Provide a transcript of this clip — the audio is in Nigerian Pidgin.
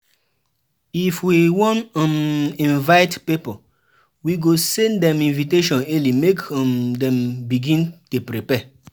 If we wan um invite pipo, we go send dem invitation early make um dem begin dey prepare.